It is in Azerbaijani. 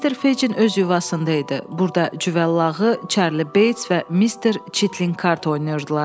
Mister Fecin öz yuvasında idi, burda Cüvəllağı, Çarli Beys və Mister Çitlin kart oynayırdılar.